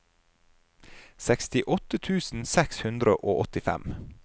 sekstiåtte tusen seks hundre og åttifem